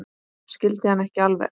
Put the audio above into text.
Skil hann ekki alveg.